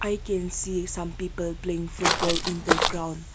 we can see some people playing football in the ground.